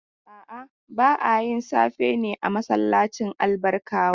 A'a, ba a yin safe ne a masallacin Albarkawa.